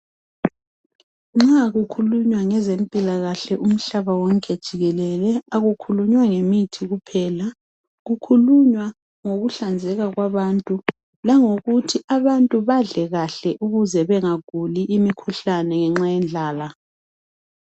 Nxa kukhulunywa ngezempilakahle umhlaba wonke jikelele akukhulunywa ngemithi kuphela kukhulunywa ngokuhlanzeka kwabantu langokuthi abantu badle kahle ukuze bengaguli imikhuhlane ngenxa yendlala.